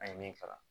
An ye min kalan